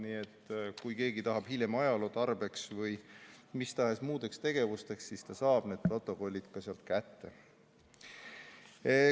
Nii et kui keegi tahab hiljem ajaloo tarbeks või mis tahes muudeks tegevusteks, siis ta saab need protokollid sealt kätte.